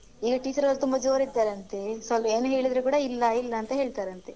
ಅದೇ ಈಗ teachers ಅವ್ರು ತುಂಬಾ ಜೋರ್ ಇದ್ದಾರಂತೇ ಸ್ವಲ್ಪ ಏನ್ ಹೇಳಿದ್ರೂ ಕೂಡ ಇಲ್ಲ ಇಲ್ಲ ಅಂತ ಹೇಳ್ತಾರಂತೆ.